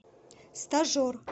стажер